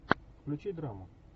включи драму